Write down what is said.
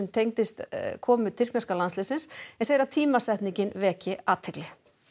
tengist komu tyrkneska landsliðsins en segir að tímasetningin veki athygli